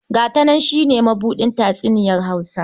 "Ga ta nan" shi ne mabuɗin tatsuniyar Hausa.